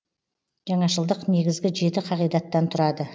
жаңашылдық негізгі жеті қағидаттан тұрады